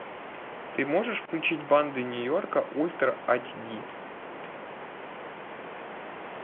ты можешь включить банды нью йорка ультра ач ди